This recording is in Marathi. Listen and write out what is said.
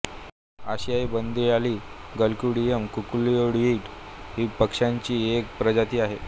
आशियाई बंदी आळी ग्लक्यूडीयम कुकुलिओइड ही पक्ष्याची एक प्रजाती आहे